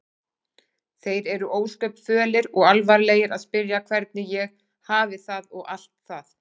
Þeir eru ósköp fölir og alvarlegir og spyrja hvernig ég hafi það og allt það.